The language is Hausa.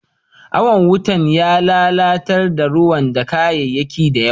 Awan wutan ya lallatar da rayuwa da kayaki da yawa.